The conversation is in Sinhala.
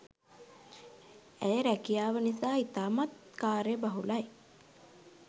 ඇය රැකියාව නිසා ඉතාමත් කාර්ය බහුලයි